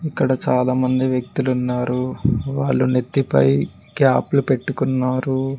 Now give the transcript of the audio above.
ఇక్కడ చాలా మంది వ్యక్తులున్నారు వాళ్ళు నెత్తిపై క్యాప్లు పెట్టుకున్నారు.